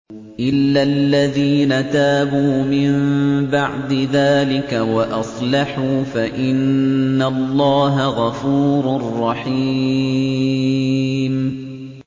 إِلَّا الَّذِينَ تَابُوا مِن بَعْدِ ذَٰلِكَ وَأَصْلَحُوا فَإِنَّ اللَّهَ غَفُورٌ رَّحِيمٌ